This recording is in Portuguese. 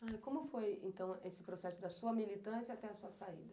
Como foi esse processo da sua militância até a sua saída?